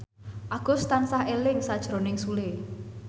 Agus tansah eling sakjroning Sule